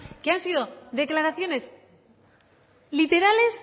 que han sido literales